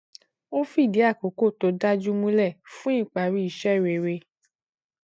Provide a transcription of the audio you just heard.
ó fìdí àkókò to dájú múlẹ fún ìparí iṣẹ rere